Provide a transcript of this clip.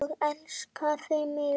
Og elskaði mig.